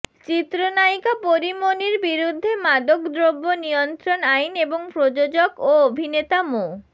চিত্রনায়িকা পরী মণির বিরুদ্ধে মাদকদ্রব্য নিয়ন্ত্রণ আইন এবং প্রযোজক ও অভিনেতা মো